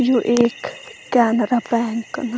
यु एक केनरा बैंक न।